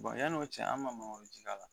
yanni o cɛ an ma mangoro ji k'a la